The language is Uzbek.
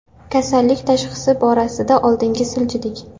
Kasallik tashxisi borasida oldinga siljidik.